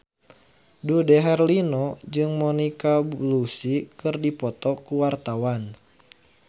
Dude Herlino jeung Monica Belluci keur dipoto ku wartawan